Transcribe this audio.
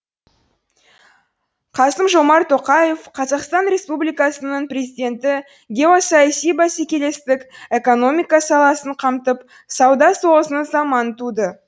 қасым жомарт тоқаев қазақстан республикасының президенті геосаяси бәсекелестік экономика саласын қамтып сауда соғысының заманы туды